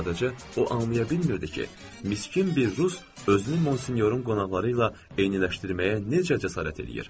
Sadəcə o anlaya bilmirdi ki, miskin bir rus özünü Monsinyorun qonaqları ilə eyniləşdirməyə necə cəsarət eləyir.